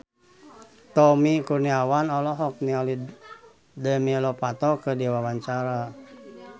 Tommy Kurniawan olohok ningali Demi Lovato keur diwawancara